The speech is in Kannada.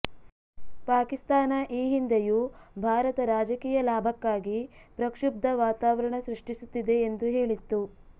ಪಾಕಿಸ್ತಾನ ಈ ಹಿಂದೆಯೂ ಭಾರತ ರಾಜಕೀಯ ಲಾಭಕ್ಕಾಗಿ ಪ್ರಕ್ಷುಬ್ಧ ವಾತಾವರಣ ಸೃಷ್ಟಿಸುತ್ತಿದೆ ಎಂದು ಹೇಳಿತ್ತು